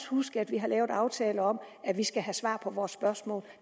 huske at vi har lavet aftaler om at vi skal have svar på vores spørgsmål at